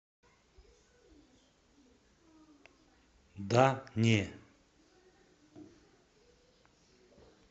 да не